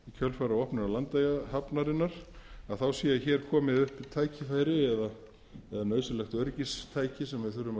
kjölfar í opnun landeyjahafnarinnar sé hér komið upp tækifæri eða nauðsynlegt öryggistæki sem við þurfum